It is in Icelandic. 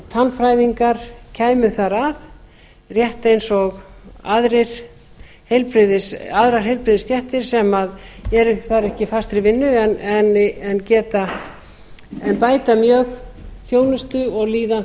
að tannfræðingar kæmu þar að rétt eins og aðrar heilbrigðisstéttir sem eru þar ekki í fastri vinnu en bæta mjög þjónustu og líðan